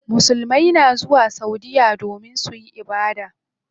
Musulmai na zuwa saudiya domin suyi ibada.